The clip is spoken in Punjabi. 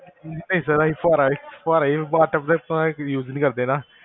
ਨਹੀਂ ਸਰ ਅਸੀਂ ਫੁਵਾਰਾ ਏ ਫੁਵਾਰਾ ਏ bath tub ਵਗੇਰਾ ਅਸੀ use ਹੀ ਨੀ ਕਰਦੇ ਨਾ